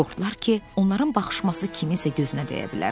Qorxdular ki, onların baxışması kiminsə gözünə dəyə bilər.